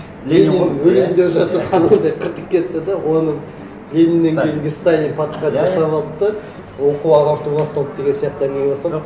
ленин өлейін деп жатыр ханым деп қыртып кетті де оны лениннен кейінгі сталин подхват жасап алды да оқу ағарту басталды деген сияқты әңгіме басталды